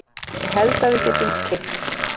Ég held að við getum keypt.